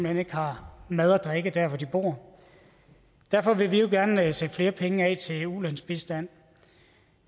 hen ikke har mad og drikke der hvor de bor derfor vil vi jo gerne sætte flere penge af til ulandsbistand